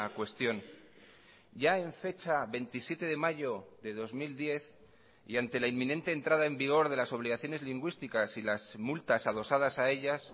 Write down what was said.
cuestión ya en fecha veintisiete de mayo de dos mil diez y ante la inminente entrada en vigor de las obligaciones lingüísticas y las multas adosadas a ellas